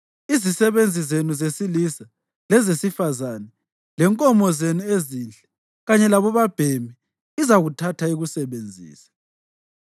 Izisebenzi zenu ezesilisa lezesifazane lenkomo zenu ezinhle kanye labobabhemi izakuthatha ikusebenzise.